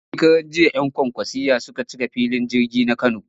Shekaranjiya 'yan kwankwasiyya suka cika filin jirgin na Kano